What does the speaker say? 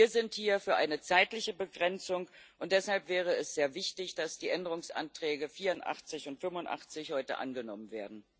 Wir sind hier für eine zeitliche Begrenzung, und deshalb wäre es sehr wichtig, dass die Änderungsanträge 84 und 85 heute angenommen werden.